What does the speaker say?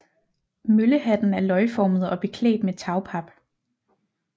Møllehatten er løgformet og beklædt med tagpap